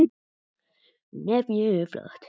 Já, hún er mjög flott.